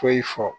Foyi fɔ